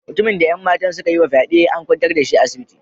Mutumin da 'yan matan suka yi wa fyade, an kwantar da shi a asibiti.